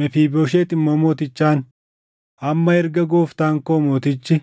Mefiibooshet immoo mootichaan, “Amma erga gooftaan koo mootichi